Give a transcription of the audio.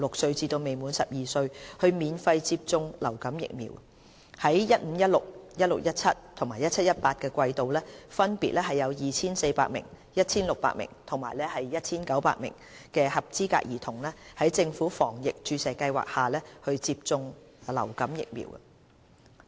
在 2015-2016、2016-2017 及 2017-2018 季度，分別有約 2,400 名、1,600 名及 1,900 名的合資格兒童在政府防疫注射計劃下接種流感疫苗。